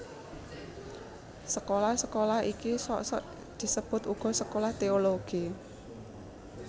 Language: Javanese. Sekolah sekolah iki sok sok disebut uga sekolah teologi